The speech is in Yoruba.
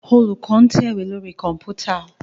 Olùkó ń tẹ̀wé lórí Kọ̀ǹpútà